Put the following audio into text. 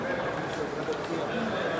dəqiq bir şey yoxdur.